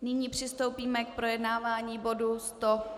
Nyní přistoupíme k projednávání bodu